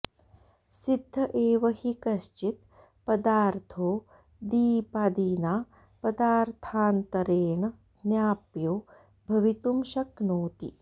सिद्ध एव हि कश्चित् पदार्थो दीपादिना पदार्थान्तरेण ज्ञाप्यो भवितुं शक्नोति